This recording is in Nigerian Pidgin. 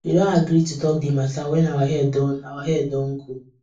we don agree to talk the matter when our head don our head don cool